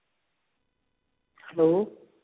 hello